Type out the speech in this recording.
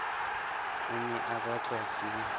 o ne o batlwa ke